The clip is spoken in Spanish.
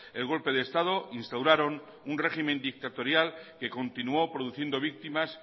el golpe de estado instauraron un régimen dictatorial que continuó produciendo víctimas